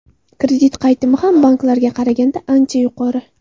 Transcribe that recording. Kredit qaytimi ham banklarga qaraganda ancha yuqori.